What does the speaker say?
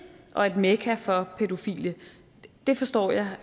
og et mekka for pædofile det forstår jeg